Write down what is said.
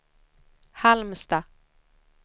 Halmstad